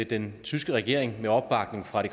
den tyske regering med opbakning fra